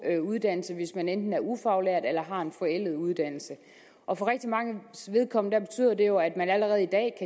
uddannelse hvis man enten er ufaglært eller har en forældet uddannelse og for rigtig manges vedkommende betyder det jo at man allerede i dag